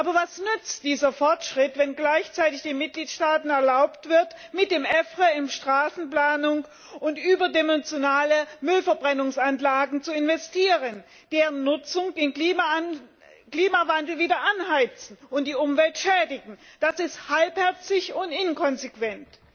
Aber was nützt dieser Fortschritt, wenn gleichzeitig den Mitgliedstaaten erlaubt wird, mit dem EFRE in Straßenplanung und überdimensionale Müllverbrennungsanlagen zu investieren, deren Nutzung den Klimawandel wieder anheizt und die Umwelt schädigt. Das ist halbherzig und inkonsequent.